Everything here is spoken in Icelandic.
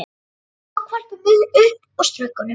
Hann tók hvolpinn upp og strauk honum.